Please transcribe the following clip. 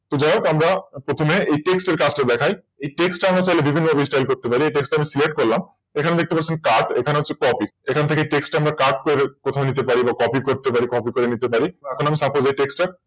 তো যাই হোক আমরা প্রথমে এই Text এর কাজটা দেখাই Text তা আমরা বিভিন্ন Style করতে পারি Select করলাম এখানে দেখতে পাচ্ছেন Cut এখানে দেখতে পাচ্ছেন Copy এখান থেকে Text টা আমরা Cut ও করে নিতে পারি Copy ও করে নিতে পারি। এখন আমি Supose এই Text টা।